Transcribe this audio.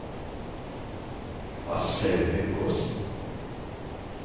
Aslaug Haukås